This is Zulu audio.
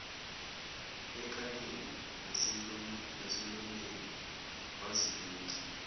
ekhaleni nasemlonyeni waziluma